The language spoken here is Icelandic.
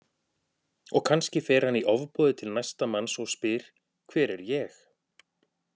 Og kannski fer hann í ofboði til næsta manns og spyr Hver er ég?